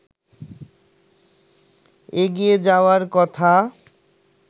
এগিয়ে যাওয়ার কথা